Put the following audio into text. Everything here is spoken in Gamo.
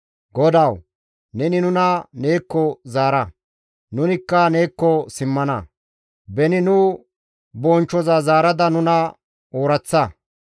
GODAWU! Neni nuna neekko zaara; nunikka neekko simmana! beni nu bonchchoza zaarada nuna ooraththa!